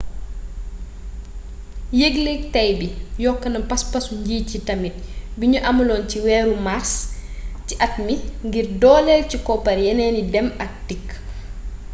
yéglék tay bi yokkona paspasu njiit yi tamit bignu amaloon ci wééru mars ci at mi ngir doolél ci koppar yénééni dém ak dikk